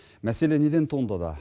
мәселе неден туындады